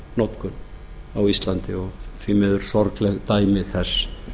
eiturlyfjanotkun á íslandi og því miður sorgleg dæmi þess